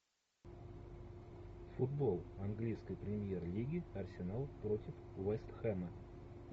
футбол английской премьер лиги арсенал против вест хэма